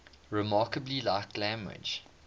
remarkably like language